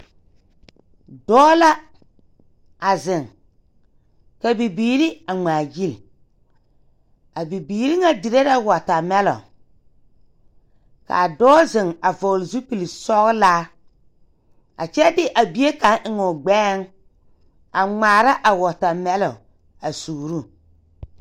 Dɔɔ la a zeŋ ka bibiire a ngmaagyile a bibiire ŋa dire la wɔɔta mɛlon kaa dɔɔ zeŋ a vɔgle zupil sɔglaa a kyɛ de a bie kaŋ eŋoo gbɛɛŋ a ngmaara a qɔɔta mɛlon a suuroo.